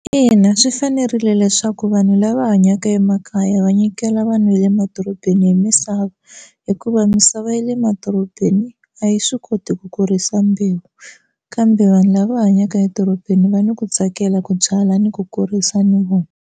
Ina, swi fanerile leswaku vanhu lava hanyaka emakaya va nyikela vanhu va le madorobeni hi misava hikuva misava ya le madorobeni a yi swi koti ku kurisa mbewu kambe vanhu lava hanyaka edorobeni va ni ku tsakela ku byala ni ku kurisa ni .